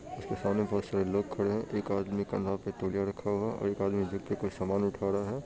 उसके सामने बहुत सारे लोग खड़े है एक आदमी के नाक पर तोलिया रखा हुआ है और एक आदमी व्यक्ति कोई सामान उठा रहा है।